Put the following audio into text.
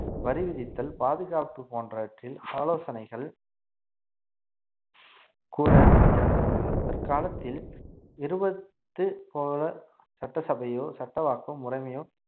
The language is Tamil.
வரி விதித்தல் பாதுகாப்பு போன்றவற்றில் ஆலோசனைகள் கூற அமைச்சர்கள் இருந்தனர் தற்காலத்தில் இருவது போல சட்டசபையோ சட்டவாக்க முறைமையோ